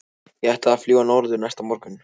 Ég ætlaði að fljúga norður næsta morgun.